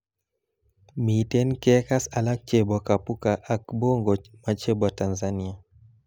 Miten kekass alak chebo Kapuka ak Bongo machebo Tanzania